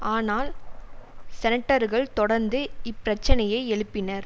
ஆனால் செனட்டர்கள் தொடர்ந்து இப்பிரச்சினையை எழுப்பினர்